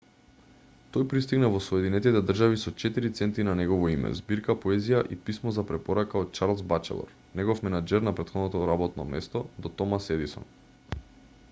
тој пристигна во соединетите држави со 4 центи на негово име збирка поезија и писмо за препорака од чарлс бачелор негов менаџер на претходното работно место до томас едисон